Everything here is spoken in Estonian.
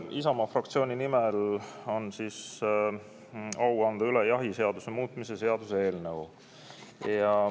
Isamaa fraktsiooni nimel on mul au anda üle jahiseaduse muutmise seaduse eelnõu.